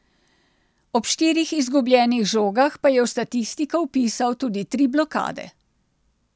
Ob štirih izgubljenih žogah pa je v statistiko vpisal tudi tri blokade.